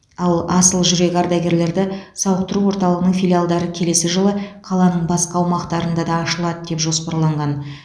ал асыл жүрек ардагерлерді сауықтыру орталығының филиалдары келесі жылы қаланың басқа аумақтарында да ашылады деп жоспарланған